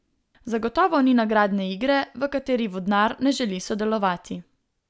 Zagotovo ni nagradne igre, v kateri vodnar ne želi sodelovati.